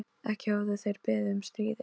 Ekki höfðu þeir beðið um stríðið.